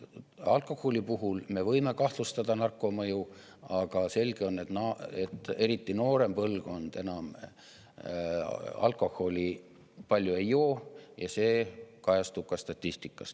Alkoholi puhul me võime kahtlustada narko mõju, aga selge on, et eriti noorem põlvkond enam alkoholi palju ei joo, ja see kajastub ka statistikas.